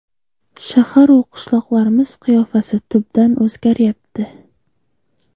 Shahar-u qishloqlarimiz qiyofasi tubdan o‘zgaryapti.